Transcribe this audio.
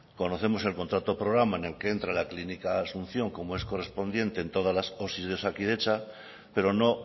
conocemos el contrato programa en el que entra la clínica de la asunción como es correspondiente en todas las osi de osakidetza pero no